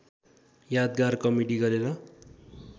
यादगार कमेडी गरेर